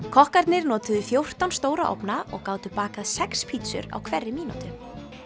kokkarnir notuðu fjórtán stóra ofna og gátu bakað sex pítsur á hverri mínútu